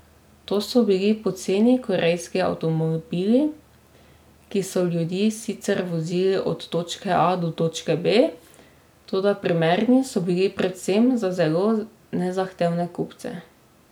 To so bili poceni korejski avtomobili, ki so ljudi sicer vozili od točke A do točke B, toda primerni so bili predvsem za zelo nezahtevne kupce.